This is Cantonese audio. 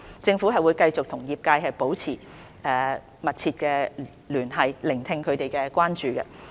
政府會繼續與業界保持密切聯繫，聆聽他們的關注。